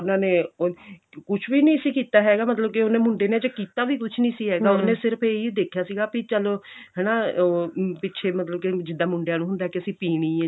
ਉਹਨਾ ਨੇ ਕੁੱਝ ਵੀ ਨਹੀਂ ਸੀ ਕੀਤਾ ਹੈਗਾ ਮਤਲਬ ਕੀ ਉਹਨੇ ਮੁੰਡੇ ਨੇ ਕੀਤਾ ਵੀ ਕੁੱਝ ਨਹੀਂ ਸੀ ਹੈਗਾ ਉਹਨੇ ਸਿਰਫ ਇਹੀ ਦੇਖਿਆ ਸੀਗਾ ਵੀ ਚਲੋ ਹਨਾ ਪਿੱਛੇ ਮਤਲਬ ਕਿ ਜਿੱਦਾਂ ਮੁੰਡਿਆ ਨੂੰ ਹੁੰਦਾ ਕਿ ਅਸੀਂ ਪੀਣੀ ਆ